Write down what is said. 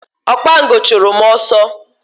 Okpango chụrụ m ọsọ.